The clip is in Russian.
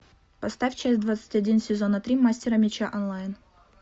поставь часть двадцать один сезона три мастера меча онлайн